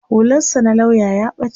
hular sa na lauya ya bace